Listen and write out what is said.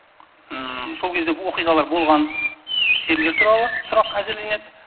сол кезде оқиғалар болған жерлер туралы сұрақ әзірленеді